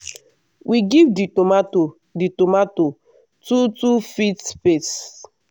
we give di tomato di tomato two two feet space.